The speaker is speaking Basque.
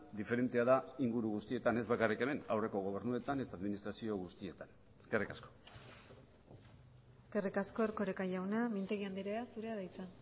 diferentea da inguru guztietan ez bakarrik hemen aurreko gobernuetan eta administrazio guztietan eskerrik asko eskerrik asko erkoreka jauna mintegi andrea zurea da hitza